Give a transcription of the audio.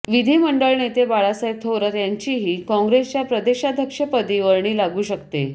विधीमंडळ नेते बाळासाहेब थोरात यांचीही काँग्रेसच्या प्रदेशाध्यक्षपदी वर्णी लागू शकते